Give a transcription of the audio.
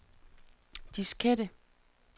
diskette